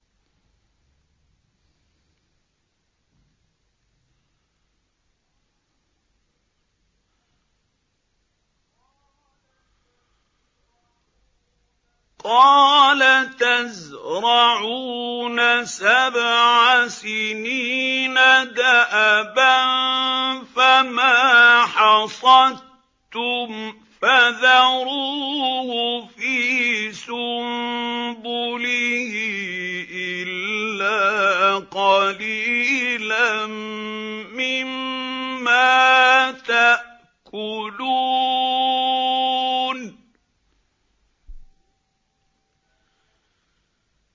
قَالَ تَزْرَعُونَ سَبْعَ سِنِينَ دَأَبًا فَمَا حَصَدتُّمْ فَذَرُوهُ فِي سُنبُلِهِ إِلَّا قَلِيلًا مِّمَّا تَأْكُلُونَ